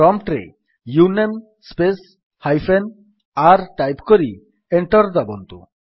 prompt ରେ uname space hyphen r type କରି enter ଦାବନ୍ତୁ